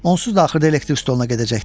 Onsuz da axırda elektrik stoluna gedəcəkdi.